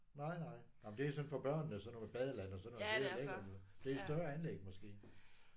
Nej nej. Nej men det er sådan for børnene sådan noget med badeland og sådan noget. Det er lækkert jo. Det er et større anlæg måske?